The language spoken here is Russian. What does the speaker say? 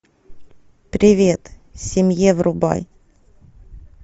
привет семье врубай